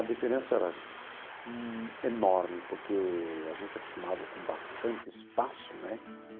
A diferença era enorme, porque a gente é acostumado com bastante espaço, né?